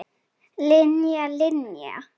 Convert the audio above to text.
Linja, Linja.